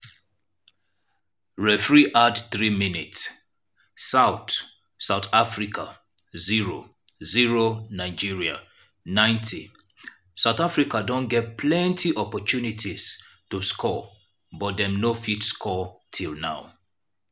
referee add 3 minutes south south africa 0-0 nigeria 90'south africa don get plenti opportunities to score but dem no fit score till now.